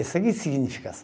Isso aqui significa